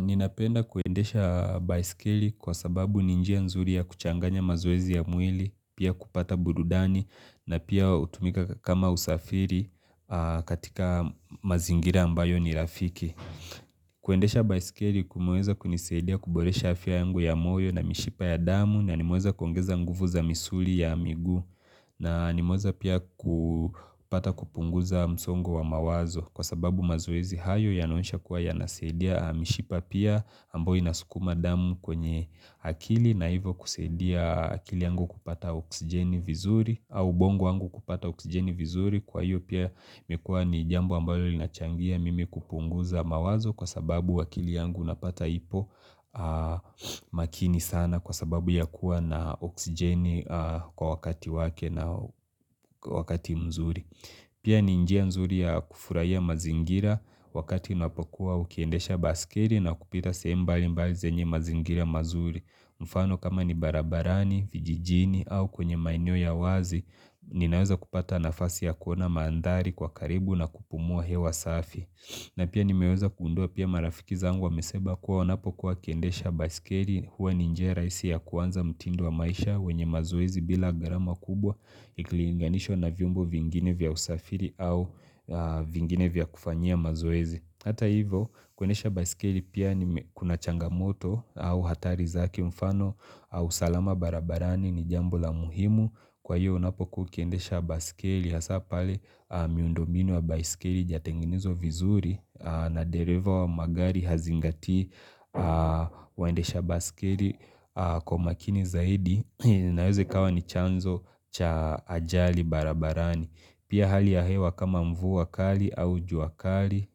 Ninapenda kuendesha baiskeli kwa sababu ni njia nzuri ya kuchanganya mazoezi ya mwili, pia kupata burudani na pia hutumika kama usafiri katika mazingira ambayo ni rafiki. Kuendesha baiskeli kumeweza kunisaidia kuboresha afya yangu ya moyo na mishipa ya damu na nimeweza kuongeza nguvu za misuli ya migu na nimeweza pia kupata kupunguza msongo wa mawazo Kwa sababu mazoezi hayo yanaonesha kuwa yanasaidia mishipa pia ambayo ina sukuma damu kwenye akili na hivo kusaidia akili yangu kupata oksijeni vizuri au ubongo wangu kupata oksijeni vizuri kwa hiyo pia imekuwa ni jambo ambayo linachangia mimi kupunguza mawazo Kwa sababu akili yangu napata ipo makini sana kwa sababu ya kuwa na oksijeni kwa wakati wake na wakati mzuri Pia ni njia nzuri ya kufurahia mazingira wakati unapokuwa ukiendesha baskeli na kupita sehemu mbali mbali zenye mazingira mazuri. Mfano kama ni barabarani, vijijini au kwenye maeneo ya wazi, ninaweza kupata nafasi ya kuona mandhari kwa karibu na kupumua hewa safi. Na pia nimeweza kugundua pia marafiki zangu wamesema kuwa wanapo kuwa wakiendesha baiskeli huwa ninjia rahisi ya kuanza mtindo wa maisha wenye mazoezi bila gharama kubwa ikilinganishwa na vyombo vingine vya usafiri au vingine vya kufanyia mazoezi. Hata hivo kuendesha baiskeli pia ni kuna changamoto au hatari zake mfano au usalama barabarani ni jambo la muhimu kwa hiyo unapokuwa ukiendesha baiskeli hasa pale miundo mbinu wa baiskeli haijatengenizwa vizuri na dereva wa magari hazingati waendesha baiskeli kwa makini zaidi na inaweza ikawa ni chanzo cha ajali barabarani. Pia hali ya hewa kama mvua kali au jua kali,